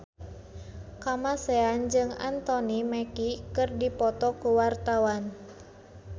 Kamasean jeung Anthony Mackie keur dipoto ku wartawan